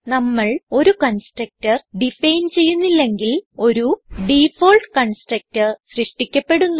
നമ്മൾ ഒരു constructor define ചെയ്യുന്നില്ലെങ്കിൽ ഒരു ഡിഫാൾട്ട് കൺസ്ട്രക്ടർ സൃഷ്ടിക്കപ്പെടുന്നു